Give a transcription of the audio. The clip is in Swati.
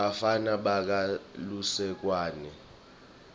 bafana bakha lusekwane